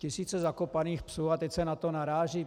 Tisíce zakopaných psů a teď se na to naráží.